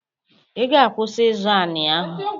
I ga-akwụsị ịzọ anị ahụ!